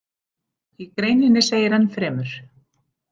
Í greininni segir enn fremur